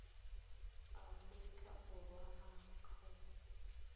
aforika borwa a makgetho sars